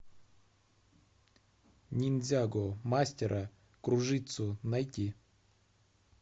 ниндзяго мастера кружитцу найти